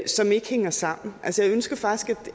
som ikke hænger sammen altså jeg ønsker faktisk